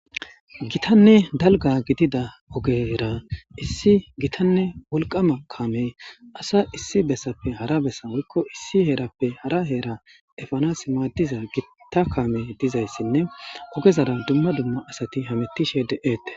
Gitanne dalga gidida ogera issi gitanne wolqama kaamey asa issi bessappe hara bessa woykko issi heerappe hara heera efanas maaddiza gitta kaame dizayssinne ogezara dumma dumma asati hamettishe de7eette.